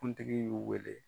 kuntigi y'u wele